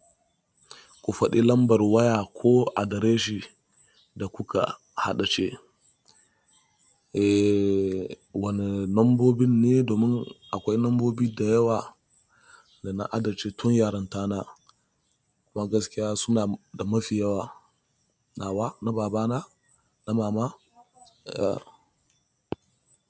Ku faɗi lambar waya ko adreshin da kuka haɗace. Eeee wane lambobin ne domin akwai lambobi da yawa da na haddace tun yaranta na. Kuma gaskiya suna da mafi yawa. Nawa na baba na, na mama, yeah.